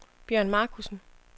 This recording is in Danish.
Bjørn Marcussen